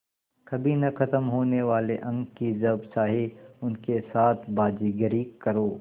कभी न ख़त्म होने वाले अंक कि जब चाहे उनके साथ बाज़ीगरी करो